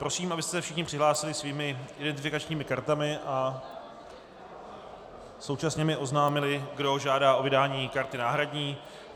Prosím, abyste se všichni přihlásili svými identifikačními kartami a současně mi oznámili, kdo žádá o vydání karty náhradní.